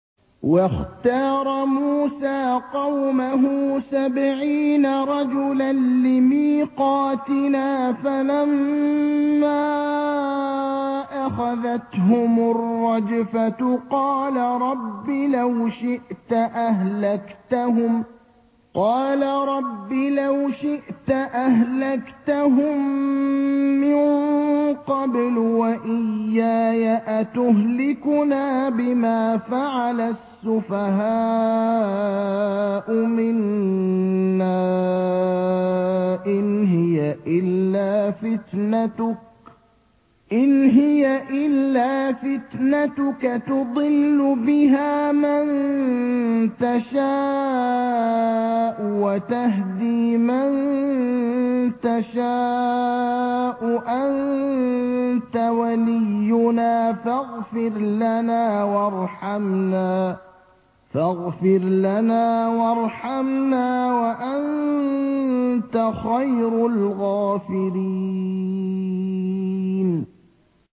وَاخْتَارَ مُوسَىٰ قَوْمَهُ سَبْعِينَ رَجُلًا لِّمِيقَاتِنَا ۖ فَلَمَّا أَخَذَتْهُمُ الرَّجْفَةُ قَالَ رَبِّ لَوْ شِئْتَ أَهْلَكْتَهُم مِّن قَبْلُ وَإِيَّايَ ۖ أَتُهْلِكُنَا بِمَا فَعَلَ السُّفَهَاءُ مِنَّا ۖ إِنْ هِيَ إِلَّا فِتْنَتُكَ تُضِلُّ بِهَا مَن تَشَاءُ وَتَهْدِي مَن تَشَاءُ ۖ أَنتَ وَلِيُّنَا فَاغْفِرْ لَنَا وَارْحَمْنَا ۖ وَأَنتَ خَيْرُ الْغَافِرِينَ